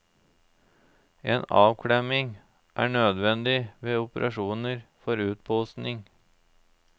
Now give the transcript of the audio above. En avklemming er nødvendig ved operasjoner for utposing.